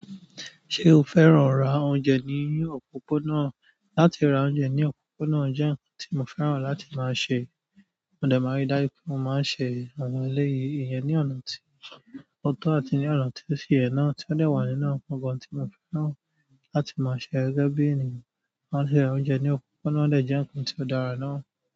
Ṣé o fẹ́ràn ra oúnjẹ ní òpópónà? Látí ra oúnjẹ ní òpópónà jẹ́ nǹkan tí mo fẹ́ràn láti máa ṣe. Mo dẹ̀ máa rí dájú pé mo máa ṣe àwọn eléyìí, ìyẹn ní ọ̀nà tí ó tó àti ní ọ̀nà tí ó si ye é náà tí ó dẹ̀ wà nínú àwọn nnkankan tí mo fẹ́ràn láti máa ṣe gẹ́gẹ́ bí ènìyàn. Láti ra oúnjẹ ní òpópónà o de jẹ́ nǹkan tí ó dára náà.